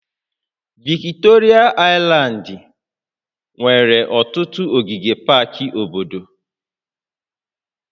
Viktoria aịlandị nwere ọtụtụ ogige pak obodo